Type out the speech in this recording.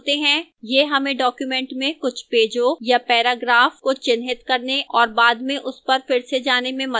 यह हमें document में कुछ पेजों या paragraphs को चिह्नित करने और बाद में उस पर फिर से जाने में मदद करता है